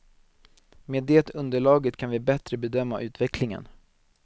Med det underlaget kan vi bättre bedöma utvecklingen.